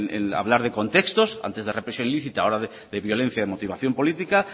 en hablar de contextos antes de represión lícita o de violencia de motivación política